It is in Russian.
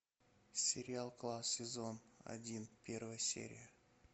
сериал класс сезон один первая серия